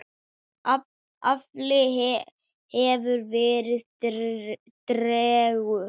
Afli hefur verið tregur.